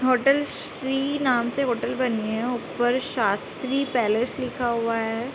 Hotel Shri नाम से hotel बनी है ऊपर शास्त्री पैलेस लिखा हुआ है।